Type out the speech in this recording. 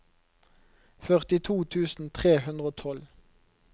førtito tusen tre hundre og tolv